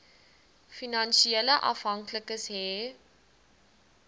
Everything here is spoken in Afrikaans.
finansiële afhanklikes hê